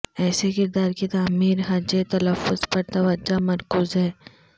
ایسے کردار کی تعمیر ہجے تلفظ پر توجہ مرکوز ہے